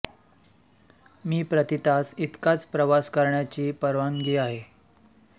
मी प्रति तास इतकाच प्रवास करण्याची परवानगी आहे